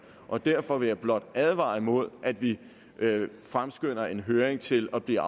og derfor vil jeg blot advare imod at vi fremskynder en høring til at blive